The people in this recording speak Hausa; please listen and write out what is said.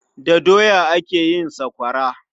Da doya ake yin sakwawara.